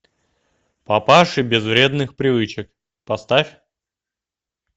папаши без вредных привычек поставь